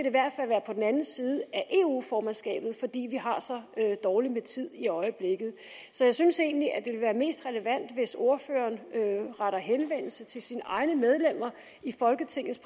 i hvert fald være på den anden side af eu formandskabet fordi vi har så dårligt med tid i øjeblikket så jeg synes egentlig at det vil være mest relevant hvis ordføreren retter henvendelse til sine egne medlemmer i folketingets